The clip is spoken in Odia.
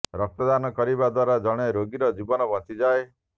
ରକ୍ତ ଦାନ କରିବା ଦ୍ୱାରା ଜଣେ ରୋଗୀର ଜୀବନ ବଞ୍ଚିଯାଏ